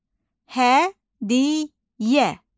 Hədiyyə.